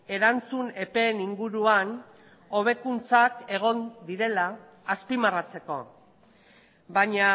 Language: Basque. erantzun epeen inguruan hobekuntzak egon direla azpimarratzeko baina